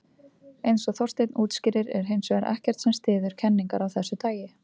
Eins og Þorsteinn útskýrir er hins vegar ekkert sem styður kenningar af þessu tagi.